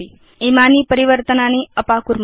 इमानि परिवर्तनानि अपाकुर्म